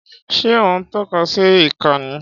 Ṣé ó ń tọ́ka sí ìka ni?